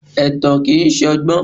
Ẹ̀tàn kìí ṣọgbọ́n.